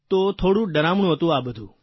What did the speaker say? તો થોડું ડરામણું હતું આ બધું